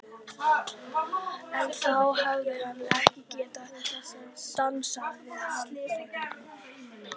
En þá hefði hann ekki getað dansað við Halldóru